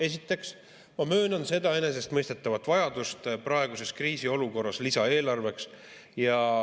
Esiteks, ma möönan seda enesestmõistetavat vajadust praeguses kriisiolukorras lisaeelarveks.